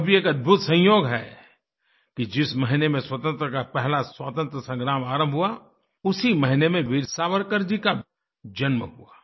यह भी एक अद्भुत संयोग है कि जिस महीने में स्वतंत्रता का पहला स्वतंत्र संग्राम आरंभ हुआ उसी महीने में वीर सावरकर जी का जन्म हुआ